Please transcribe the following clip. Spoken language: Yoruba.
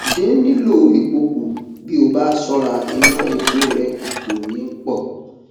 dín lílò epo kún bí o bá ṣọra ìná epo rẹ kò ní pọ